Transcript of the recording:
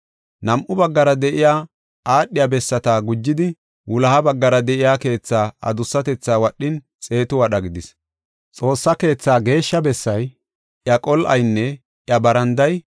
Nam7u baggara de7iya aadhiya bessata gujidi, wuloha baggara de7iya keetha adussatethaa wadhin, xeetu wadha gidis. Xoossaa keetha Geeshsha Bessay, iya qol7aynne iya baranday